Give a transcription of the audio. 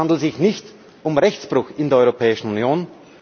Es handelt sich nicht um Rechtsbruch in der Europäischen Union!